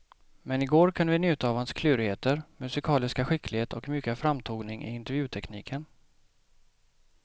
Men i går kunde vi njuta av hans klurigheter, musikaliska skicklighet och mjuka framtoning i intervjutekniken.